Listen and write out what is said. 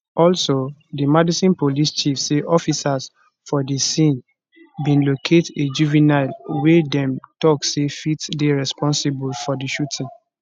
also di madison police chief say officers for di scene bin locate a juvenile wey dem tok say fit dey responsible for di shooting